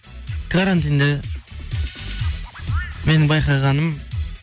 карантинде менің байқағаным